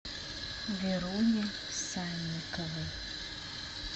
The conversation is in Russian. веруне санниковой